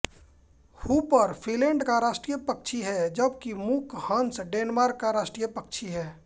Hooper Finland का राष्ट्रीय पक्षी है जबकि मूक हंस डेनमार्क का राष्ट्रीय पक्षी है